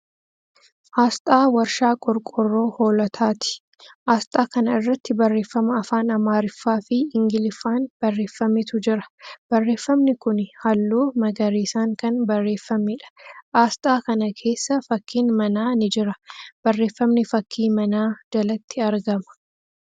Aasxaa Warshaa Qorqoorroo Hoolotaati. Aasxaa kana irratti barreeffama afaan Amaariffaa fi Ingiliffaan barreeffametu jira. Barreeffamni kuni haalluu magariisan kan barreeffameedha. Aasxaa kana keessa fakkiin manaa ni jira. Barreeffamni fakkii manaa jalatti argama.